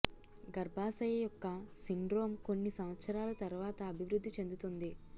గర్భాశయ యొక్క సిండ్రోమ్ కొన్ని సంవత్సరాల తర్వాత అభివృద్ధి చెందుతుంది